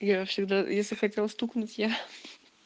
я всегда если хотела стукнуть я